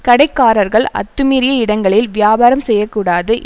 கடைக்காரர்கள் அத்துமீறிய இடங்களில் வியாபாரம் செய்ய கூடாது